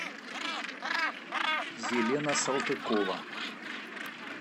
елена салтыкова